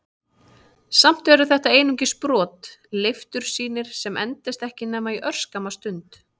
Samt eru þetta einungis brot, leiftursýnir sem endast ekki nema örskamma stund.